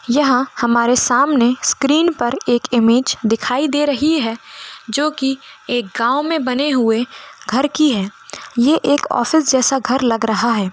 यहाँ हमारे सामने स्क्रीन पर एक इमेज दिखाई दे रही है जो की एक गाँव में बने हुए घर की है यह एक ऑफिस जैसा घर लग रहा है।